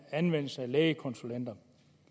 anvendelse af lægekonsulenter